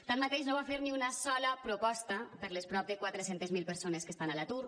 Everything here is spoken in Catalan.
tanmateix no va fer ni una sola proposta per a les prop de quatre cents miler persones que estan a l’atur